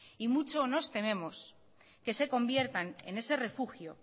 y mucho nos tememos que se conviertan en ese refugio